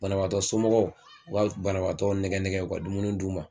Banabaatɔ somɔgɔw u ka banabaatɔ nɛgɛ nɛgɛ u ka dumuni d'u ma